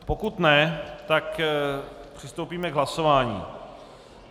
Pokud ne, tak přistoupíme k hlasování.